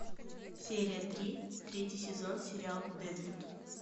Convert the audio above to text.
серия три третий сезон сериал дедвуд